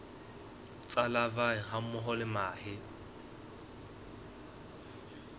tsa larvae hammoho le mahe